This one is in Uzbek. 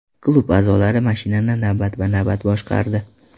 Klub a’zolari mashinani navbatma-navbat boshqardi.